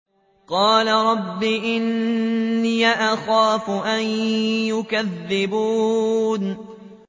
قَالَ رَبِّ إِنِّي أَخَافُ أَن يُكَذِّبُونِ